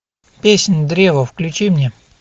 песнь древа включи мне